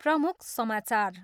प्रमुख समाचार।